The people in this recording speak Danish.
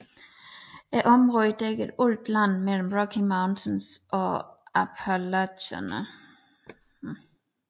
Området dækkede alt land mellem Rocky Mountains og Appalacherne